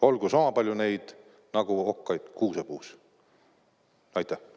Olgu sama palju neid nagu okkaid kuusepuus!